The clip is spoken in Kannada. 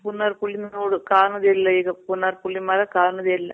ಪುನರ್ ಪುಳಿ ನೋಡೋಕ್ ಕಾಣೋದೆ ಇಲ್ಲ ಈಗ. ಪುನರ್ ಪುಳಿ ಮರ ಕಾಣೋದೆ ಇಲ್ಲ.